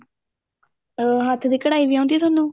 ਅਹ ਹੱਥ ਦੀ ਕਢਾਈ ਵੀ ਆਂਦੀ ਤੁਹਾਨੂੰ